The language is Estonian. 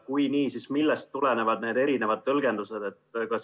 Kui jah, siis millest tulenevad need erinevad tõlgendused?